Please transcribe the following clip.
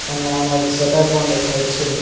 અને આમાં એક શટર પણ દેખાય છે.